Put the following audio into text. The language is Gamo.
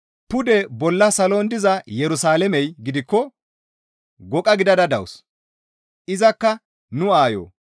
Pude bolla salon diza Yerusalaamey gidikko goqa gidada dawus; izakka nu aayo.